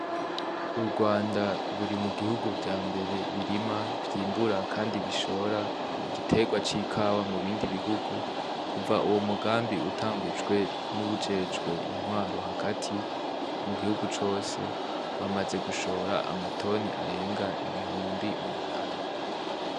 Urwanda ruri mu bihugu vya mbere birima, vyimbura kandi bishora igiterwa c'Ikawa mu bindi bihugu. Kuva uwo mugambi utangujwe n'uwujejwe intwaro hagati mu gihugu cose, bamaze gushora amatoni arenga ibihumbi umunani.